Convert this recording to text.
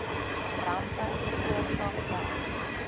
rampe veroorsaak dan